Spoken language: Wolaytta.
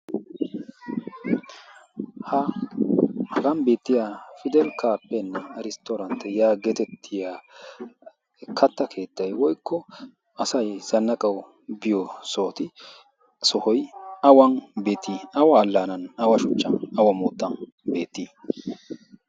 hagan beettiya pidel kaappen risttoorantt yaa geetettiya katta keettay woikko asay zannaqawu biyo sooti sohoy awan beetii awa allaanan awa shuchcha awa moottan beettii